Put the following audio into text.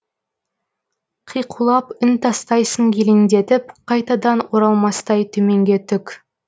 қиқулап үн тастайсың елеңдетіп қайтадан оралмастай төменге түк